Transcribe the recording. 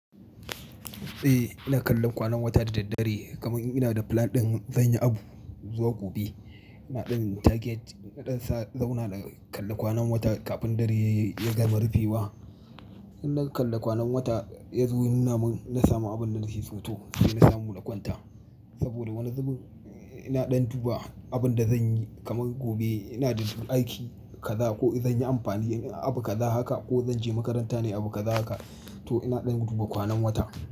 Eh ina kallon kwanan wata da daddare kamar ina da plan ɗin zan yi abu zuwa gobe. Ina ɗin target naɗin sauna da kalla kwanan wata kafin dare ya gama rufe wa. In na kalla kwanan wata ya zo nuna mun na samu abun da na ke so to sai na samu na kwanta. Saboda wani zubin ina ɗan duba abun da zanyi kamar gobe ina da aiki kaza ko in zan yi amfani abu kaza haka ko zanje makaranta nai abu kaza haka to ina ɗan duba kwanan wata.